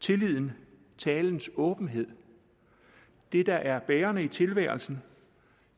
tilliden talens åbenhed det der er bærende i tilværelsen